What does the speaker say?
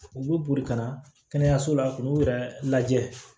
U bɛ boli ka na kɛnɛyaso la k'u yɛrɛ lajɛ